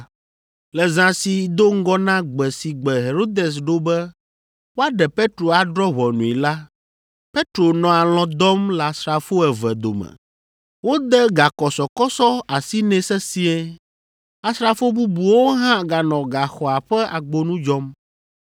Le zã si do ŋgɔ na gbe si gbe Herodes ɖo be woaɖe Petro adrɔ̃ ʋɔnui la, Petro nɔ alɔ̃ dɔm le asrafo eve dome. Wode gakɔsɔkɔsɔ asi nɛ sesĩe. Asrafo bubuwo hã ganɔ gaxɔa ƒe agbonu dzɔm.